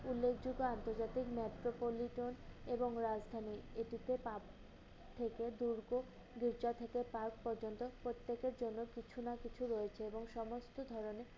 উল্লেখযোগ্য আন্তর্জাতিক metropolitan এবং রাজধানী। এটি তে park থেকে দুর্গ, দুর্জয় থেকে park পর্যন্ত প্রত্যেকের জন্য কিছু না কিছু রয়েছে এবং সমস্ত ধরনের